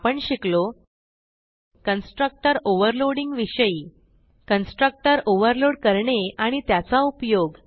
आपण शिकलो constructor overloading विषयी कन्स्ट्रक्टर ओव्हरलोड करणे आणि त्याचा उपयोग